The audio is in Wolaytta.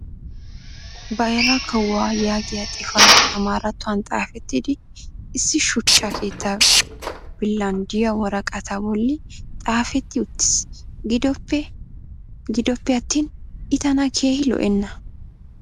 bayrra kawuwaa yaagiya xifatee amaarattuwan xaafettidi issi shuchcha keettaa billan diya woraqataa bolli xaafetti uttiis. gidoppe attin i tana keehi lo'enna.